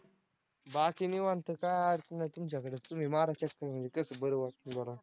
बाकी निवांत काय अडचण नाही तुमच्याकडचं तुम्ही मारा चक्कर म्हणजे कसं बरं वाटतंय बघा.